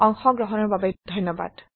অংশগ্ৰহনৰ বাবে ধন্যবাদ